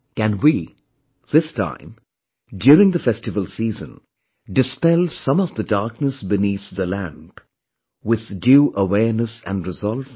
Can we, this time, during the festival season, dispel some of the darkness beneath the lamp with due awareness and resolve